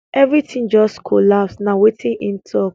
everytin just collapse na wetin im talk